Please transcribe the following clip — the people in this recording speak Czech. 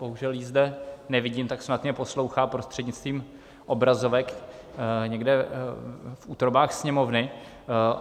Bohužel ji zde nevidím, tak snad mě poslouchá prostřednictvím obrazovek někde v útrobách Sněmovny.